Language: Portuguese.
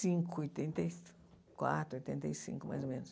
cinco, oitenta e quatro, oitenta e cinco, mais ou menos.